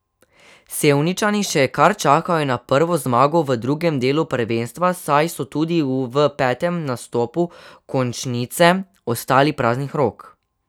Sevničani še kar čakajo na prvo zmago v drugem delu prvenstva, saj so tudi v petem nastopu končnice ostali praznih rok.